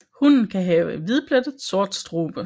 Hunnen kan have hvidplettet sort strube